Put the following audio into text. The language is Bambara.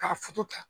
K'a ta